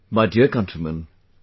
My dear countrymen,